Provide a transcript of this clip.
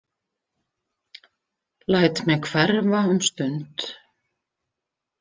Læt mig hverfa um stund.